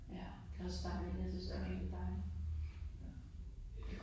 Ja, det også dejligt. Jeg synes det er mega dejligt